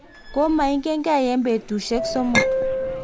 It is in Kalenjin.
komaingen gei eng' betusiek somok